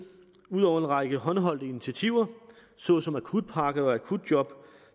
ud over at række håndholdte initiativer såsom akutpakke og akutjob